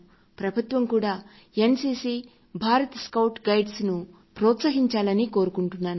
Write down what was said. ప్రభుత్వం కూడా N CC Bharat scouts and గైడ్స్ను ప్రోత్సహించాలని కోరుకుంటున్నాను